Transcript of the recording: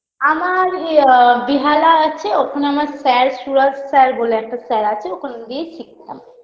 আমার ইয়ে বেহালা আছে ওখানে আমার sir সুরাজ sir বলে একটা sir আছে ওখান দিয়েই শিখতাম